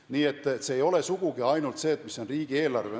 Nii et see ei ole sugugi ainult see, mis on riigieelarve.